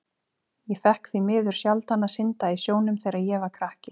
Ég fékk því miður sjaldan að synda í sjónum þegar ég var krakki.